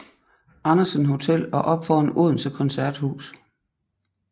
Andersen Hotel og op foran Odense Koncerthus